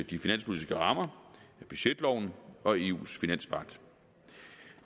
de finanspolitiske rammer af budgetloven og eus finanspagt